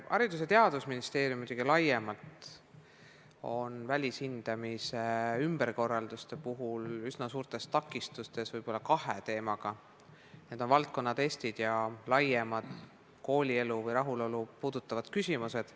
Haridus- ja Teadusministeerium laiemalt on muidugi välishindamise ümberkorralduste puhul näinud üsna suure takistusena kahte asja: valdkonnatestid ja laiemad koolielu või rahulolu puudutavad küsimused.